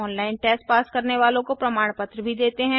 online test pass करने वालों को प्रमाण पत्र भी देते हैं